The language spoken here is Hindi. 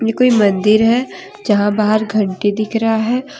यह कोई मंदिर है जहां बाहर घंटी दिख रहा है।